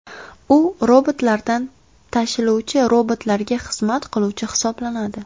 U robotlardan tashiluvchi robotlarga xizmat qiluvchi hisoblanadi.